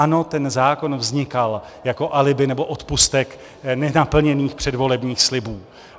Ano, ten zákon vznikal jako alibi nebo odpustek nenaplněných předvolebních slibů.